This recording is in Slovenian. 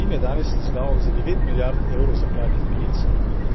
Rim je danes izdal za devet milijard evrov zakladnih menic,